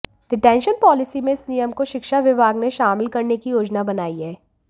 detention policy में इस नियम को शिक्षा विभाग ने शामिल करने की योजना बनाई है